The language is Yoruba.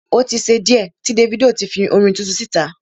O tí ṣe díẹ̀ tí Davido ti fi orin tuntun síta.